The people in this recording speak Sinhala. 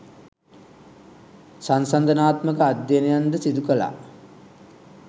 සන්සන්දනාත්මක අධ්‍යයනයන් ද සිදු කළා